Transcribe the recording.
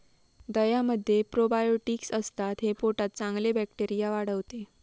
दह्यामध्ये probiotics असतात, हे पोटात चांगले बॅक्टेरिया वाढवते.